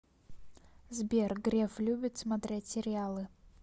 сбер греф любит смотреть сериалы